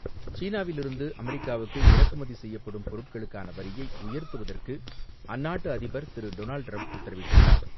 சீனாவில் இருந்து அமெரிக்காவுக்கு இறக்குமதி செய்யப்படும் பொருட்களுக்கான வரியை உயர்த்த அந்நாட்டு அதிபர் திரு டொனால்ட் டிரம்ப் உத்தரவிட்டுள்ளார்.